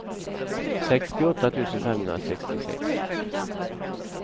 sextioåtta tusen femhundrasextiosex